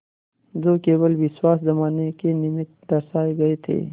जो केवल विश्वास जमाने के निमित्त दर्शाये गये थे